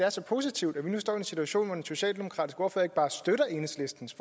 er så positivt at vi nu står i en situation hvor den socialdemokratiske ordfører ikke bare støtter enhedslistens